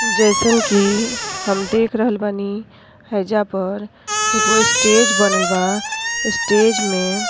जइसन की हम देख रहल बानी। हईजा पर एगो स्टेज बनल बा। स्टेज में --